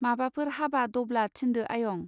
माबाफोर हाबा दब्ला थिन्दो आयं.